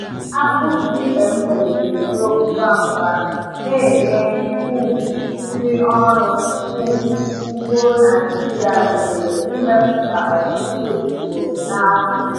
Akpụ GMO na-eto ngwa ngwa, na-enye um ndị ọrụ um ugbo Naijiria ohere ịmepụta ọtụtụ ugboro n’afọ.